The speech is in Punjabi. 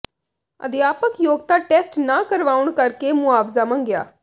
ਅਧਿਆਪਕ ਯੋਗਤਾ ਟੈਸਟ ਨਾ ਕਰਵਾਉਣ ਕਰ ਕੇ ਮੁਆਵਜ਼ਾ ਮੰਗਿਆ